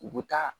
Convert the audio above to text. U bɛ taa